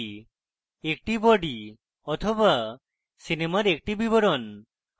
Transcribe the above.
একটি body body সিনেমার একটি বিবরণ